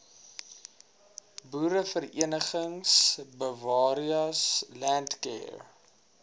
boereverenigings bewareas landcare